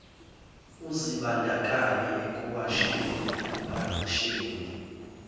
uzibandakanye ekuwasheni ekupakisheni